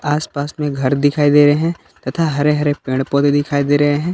आस पास में घर दिखाई दे रहे हैं तथा हरे हरे पेड़ पौधे दिखाई दे रहे हैं।